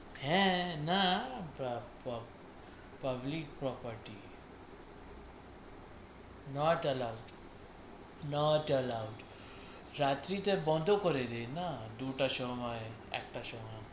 হ্যাঁ না public property not allow not allow রাত্রিতে বন্ধ করে দেয় না দুটোর সময় একটার সময়